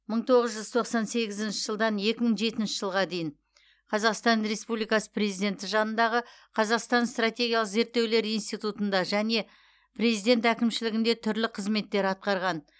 мың тоғыз жүз тоқсан сегізінші жылдан екі мың жетінші жылға дейін қазақстан республикасы президенті жанындағы қазақстан стратегиялық зерттеулер институтында және президент әкімшілігінде түрлі қызметтер атқарған